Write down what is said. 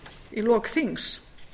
í lok þings